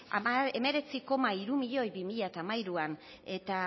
hemeretzi koma hiru milioi bi mila hamairuan eta